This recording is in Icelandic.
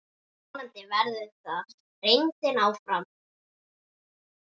Vonandi verður það reyndin áfram.